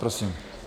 Prosím.